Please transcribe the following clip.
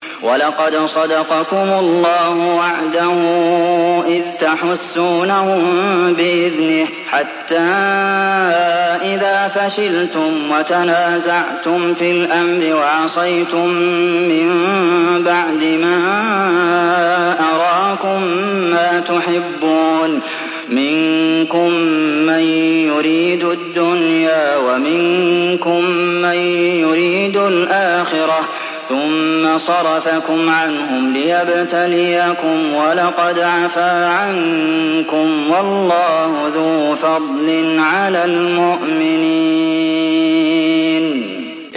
وَلَقَدْ صَدَقَكُمُ اللَّهُ وَعْدَهُ إِذْ تَحُسُّونَهُم بِإِذْنِهِ ۖ حَتَّىٰ إِذَا فَشِلْتُمْ وَتَنَازَعْتُمْ فِي الْأَمْرِ وَعَصَيْتُم مِّن بَعْدِ مَا أَرَاكُم مَّا تُحِبُّونَ ۚ مِنكُم مَّن يُرِيدُ الدُّنْيَا وَمِنكُم مَّن يُرِيدُ الْآخِرَةَ ۚ ثُمَّ صَرَفَكُمْ عَنْهُمْ لِيَبْتَلِيَكُمْ ۖ وَلَقَدْ عَفَا عَنكُمْ ۗ وَاللَّهُ ذُو فَضْلٍ عَلَى الْمُؤْمِنِينَ